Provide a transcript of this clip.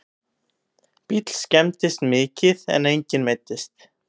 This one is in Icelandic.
Bíll skemmdist mikið en enginn meiddist